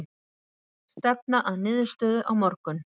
Stefna að niðurstöðu á morgun